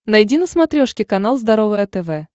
найди на смотрешке канал здоровое тв